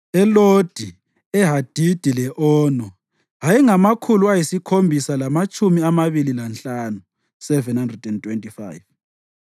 eLodi, eHadidi le-Ono ayengamakhulu ayisikhombisa lamatshumi amabili lanhlanu (725),